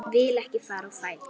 Vil ekki fara á fætur.